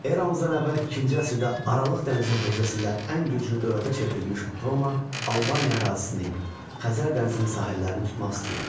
Eramızdan əvvəl ikinci əsrdə Aralıq dənizi hövzəsində ən güclü dövlətə çevrilmiş Roma Albaniya ərazisini, Xəzər dənizinin sahillərini tutmaq istəyirdi.